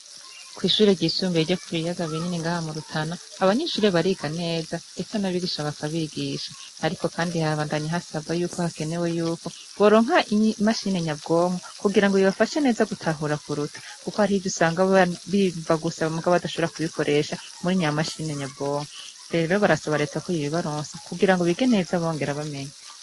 Kw'ishuri ryisumbiye ryo ku biyaga binini ngaha murutana abanyinshurire bariga neza, ndetse n'abigisha bakabigisha, ariko, kandi habandanyi hasabwa yuko hakenewe yuko boronka imashinenyabwonkwo kugira ngo ibibafashe neza gutahura kuruta, kuko hari ivyo usanga bimva gusaba mugabo adashobora kubikoresha muri nyamashinenyabwonko rero barasaba reta ko yibbaronsa kugira ngo bige neza abongera bamenya.